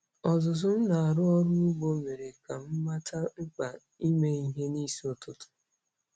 Ọzụzụ m na-arụ ọrụ ugbo mere ka m mata mkpa ime ihe n'isi ụtụtụ.